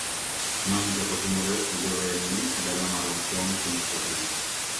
Ng`anyo ochako otimore kuonde ohelni e dala mar Hong Kong chieng Tich Abich,